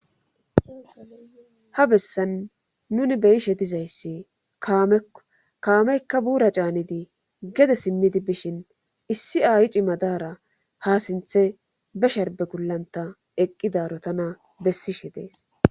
ha bessan nuni beyishe dizayssi kaamekko kaameykka buura caanidi gede simmidi bishin issi ayi ci madaara ha sinthe be sharbe gullanta eqqidaro tana bessishe dees